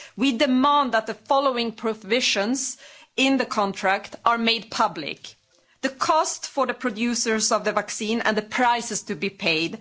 We demand that the following provisions in the contract are made public the cost for the producers of the vaccine and the prices to be paid